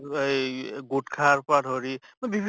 এই গুট্খাৰ পৰা ধৰি বিভি